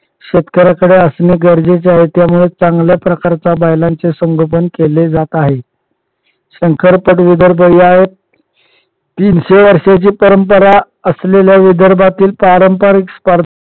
शेतकऱ्यांकडे असणे गरजेचे आहे. त्यामुळे चांगल्या प्रकारे बैलांची संगोपन केले जात आहे. शंकरपट विदर्भ या तीनशे वर्षांची परंपरा असलेल्या विदर्भातील पारंपारिक स्पर्धा